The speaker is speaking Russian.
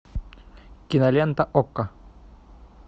кинолента окко